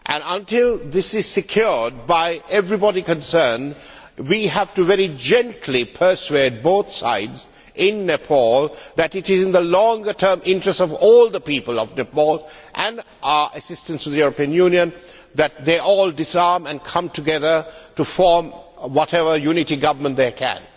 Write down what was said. Until this is secured by everybody concerned, we have to very gently persuade both sides in Nepal that it is in the longer term interests of all the people of Nepal and the assistance of the European Union that they all disarm and come together to form whatever unity government they can.